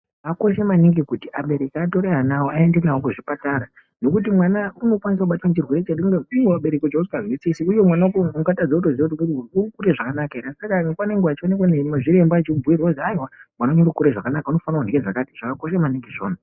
Zvakakosha maningi kuti abereki atore ana awo aende nawo kuzvipatara nokuti mwana unokwanise kubatwa nechirwere iwo abereki chaasingazwisisi uye mwana wako ungatadze kutoziya kuti urikuite zvakanaka ere asi akanga nenguwa vechionekwa nezviremba echibhirwe kuzi haiwa mwana wenyu urikukure zvakanaka unofane kundye zvakati zvakakosha maningi izvona.